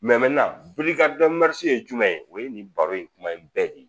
ye jumɛn ye o ye nin baro in kuma in bɛɛ de ye